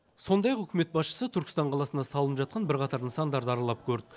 сондай ақ үкімет басшысы түркістан қаласында салынып жатқан бірқатар нысандарды аралап көрді